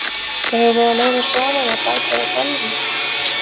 Eigum við að leyfa Svavari að bæta við gallana?